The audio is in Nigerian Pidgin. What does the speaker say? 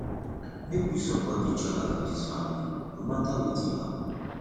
make we support each oda for dis family no mata wetin happen